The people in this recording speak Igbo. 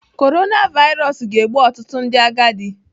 Korona vairos ga-egbu ọtụtụ ndị agadi.